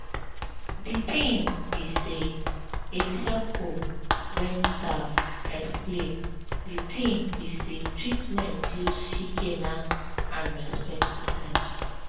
de tin be say its helpful wen staff explain de tin be say treatments use shikena and respectful terms